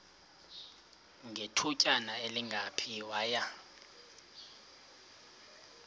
ngethutyana elingephi waya